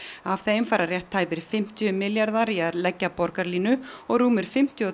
af þeim fara rétt tæpir fimmtíu milljarðar króna í að leggja Borgarlínu og rúmir fimmtíu og